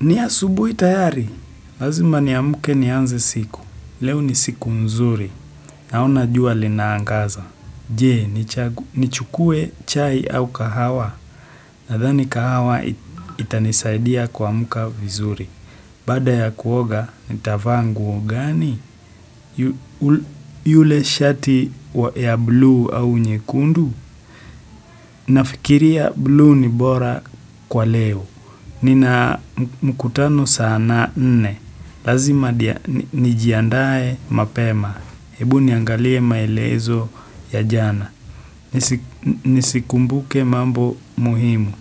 Ni asubuhi tayari, lazima niamke nianze siku, leo ni siku mzuri, naona jua linaangaza, je, ni chukue chai au kahawa, nadhani kahawa itanisaidia kuamka vizuri. Baada ya kuoga, nitavaa nguo gani? Yule shati ya blue au nyekundu? Nafikiria blue ni bora kwa leo. Nina mkutano sana nne. Lazima nijiandae mapema. Hebu niangalie maelezo ya jana. Nisikumbuke mambo muhimu.